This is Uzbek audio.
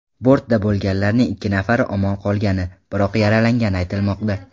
Bortda bo‘lganlarning ikki nafari omon qolgani, biroq yaralangani aytilmoqda.